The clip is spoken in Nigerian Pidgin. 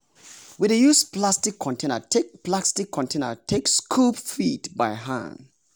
we dey use plastic container take plastic container take scoop feed by hand.